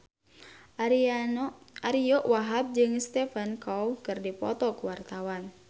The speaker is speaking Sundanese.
Ariyo Wahab jeung Stephen Chow keur dipoto ku wartawan